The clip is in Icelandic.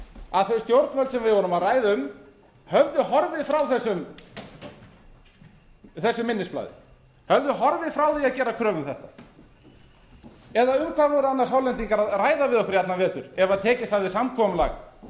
að þau stjórnvöld sem við vorum að ræða um höfðu horfið frá þessu minnisblaði höfðu horfið frá því að gera kröfu um þetta eða um hvað voru annars hollendingar a ræða við okkur í allan vetur ef tekist hafði samkomulag